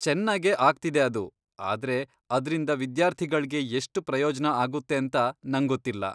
ಚೆನ್ನಾಗೇ ಆಗ್ತಿದೆ ಅದು, ಆದ್ರೆ ಅದ್ರಿಂದ ವಿದ್ಯಾರ್ಥಿಗಳ್ಗೆ ಎಷ್ಟ್ ಪ್ರಯೋಜ್ನ ಆಗುತ್ತೇಂತ ನಂಗೊತ್ತಿಲ್ಲ.